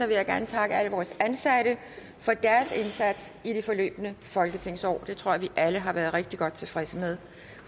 vil jeg gerne takke alle vores ansatte for deres indsats i det forløbne folketingsår det tror jeg vi alle har været rigtig godt tilfredse med